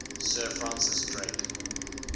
sir francis drake